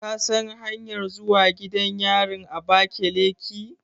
Ka san hanyanmr zuwa gidan yarin Abakeleki?